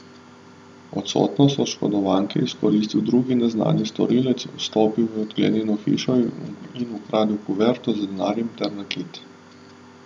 Odsotnost oškodovanke je izkoristil drugi neznani storilec, vstopil v odklenjeno hišo in ukradel kuverto z denarjem ter nakit.